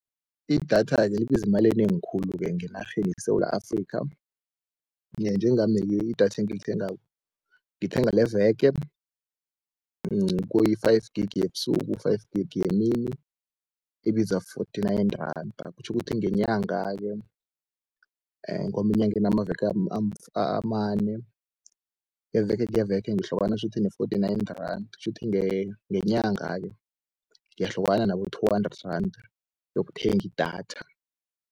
Idatha-ke libiza imali enengi khulu-ke ngenarheni yeSewula Afrikha, njengami-ke idatha engilithengako ngithenga leveke kuyi-five gig yebusuku five gig yemini, ibiza forty-nine randa. Kutjho ukuthi ngenyanga-ke ngoba inyanga inamaveke amane, iveke neveke ngihlukana shuthi ne-forty-nine randa, shuthi ngenyanga-ke ngiyahlukana nabo-two hundred randa yokuthenga idatha.